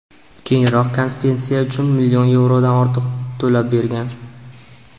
Keyinroq kompensatsiya uchun million yevrodan ortiq to‘lab bergan.